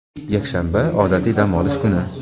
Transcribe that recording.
yakshanba – odatiy dam olish kuni.